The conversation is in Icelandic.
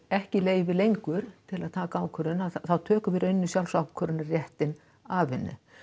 ekki leyfi lengur til að taka ákvörðun þá tökum við sjálfsákvörðunarréttinn af henni